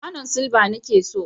kwanon silba nake so.